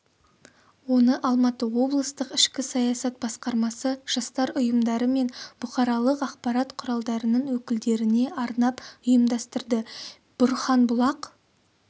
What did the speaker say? оны алматы облыстық ішкі саясат басқармасы жастар ұйымдары мен бұқаралық ақпарат құралдарының өкілдеріне арнап ұйымдастырды бұрханбұлақ